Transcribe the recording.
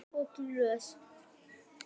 Ég er svo glöð.